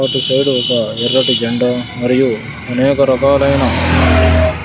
ఒక సైడు ఒక ఎర్రటి జెండా మరియు అనేక రకాలైన--